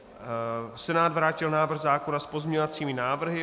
Senát vrátil návrh zákona s pozměňovacími návrhy.